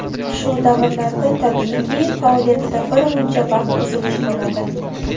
Shu davrlarda, tabiiyki, faoliyatida bir muncha vaqt uzilish bo‘ladi.